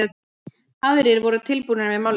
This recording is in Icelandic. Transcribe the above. Aðrir voru tilbúnir með málningu.